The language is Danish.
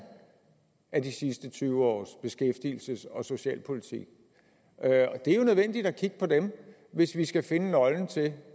af de sidste tyve års beskæftigelses og socialpolitik det er jo nødvendigt at kigge på dem hvis vi skal finde nøglen til